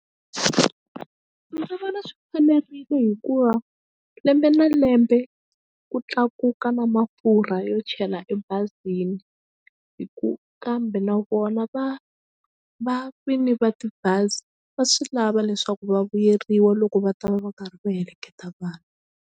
Ndzi vona swi fanerile hikuva lembe na lembe ku tlakuka na mafurha yo chela ebazini hi ku kambe na vona va va vini va tibazi va swi lava leswaku va vuyeriwa loko va ta va va karhi va heleketa vanhu.